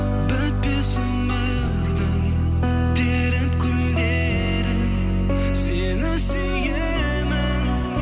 бітпес өмірдің теріп гүлдерін сені сүйемін